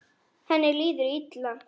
Henni líður illa.